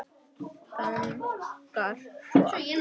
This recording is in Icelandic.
Þagnar svo aftur.